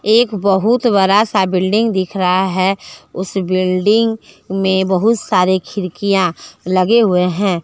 एक बहुत बरा सा बिल्डिंग दिख रहा है उस बिल्डिंग में बहुत सारे खिड़कियां लगे हुए है।